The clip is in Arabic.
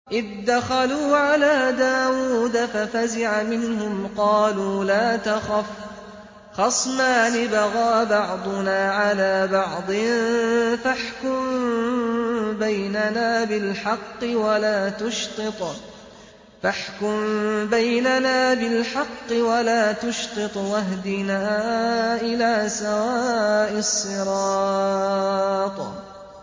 إِذْ دَخَلُوا عَلَىٰ دَاوُودَ فَفَزِعَ مِنْهُمْ ۖ قَالُوا لَا تَخَفْ ۖ خَصْمَانِ بَغَىٰ بَعْضُنَا عَلَىٰ بَعْضٍ فَاحْكُم بَيْنَنَا بِالْحَقِّ وَلَا تُشْطِطْ وَاهْدِنَا إِلَىٰ سَوَاءِ الصِّرَاطِ